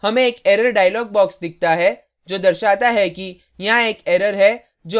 हमें एक error dialog box दिखता है जो दर्शाता है कि यहाँ एक error है जो आगे बढ़ने और न बढ़ने के लिए पूछता है